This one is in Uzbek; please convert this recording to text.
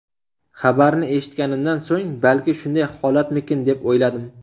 Xabarni eshitganimdan so‘ng, balki shunday holatmikin deb o‘yladim.